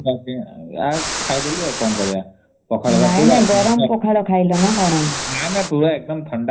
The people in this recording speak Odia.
ନାଇ ନାଇ ଗରମ ପଖାଳ ଖାଇଲା ନ କଣ?